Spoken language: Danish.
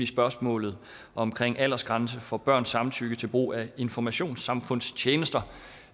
spørgsmålet omkring aldersgrænse for børns samtykke til brug af informationssamfundstjenester